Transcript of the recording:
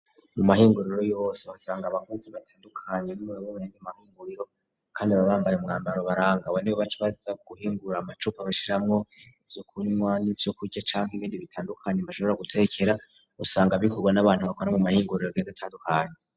Mu mahinguriro yose usanga abakuzi batandukanyo n'wewobrige mahinguriro, kandi ababambare umwambaro barangawe ni bo baco baza guhingura amacupa abashiramwo ivyo kunywa n'ivyo kurya canke ibindi bitandukanya mbashobora gutekera usanga bikorwa n'abantu bakora mu mahinguriro geda atadukanya.